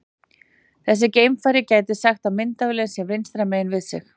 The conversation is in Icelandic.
Þessi geimfari gæti sagt að myndavélin sé vinstra megin við sig.